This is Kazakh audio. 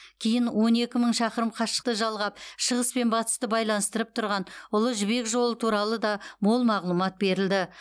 кейін он екі мың шақырым қашықты жалғап шығыс пен батысты байланыстырып тұрған ұлы жібек жолы туралы да мол мағлұмат берілді